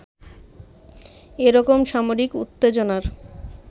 এরকম সামরিক উত্তেজনার